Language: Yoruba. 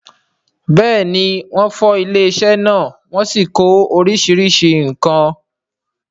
bẹ́ẹ̀ni, wọ́n fọ́ ilé-isẹ́ náà wọ́n sì kó oríṣiríṣi nǹkan.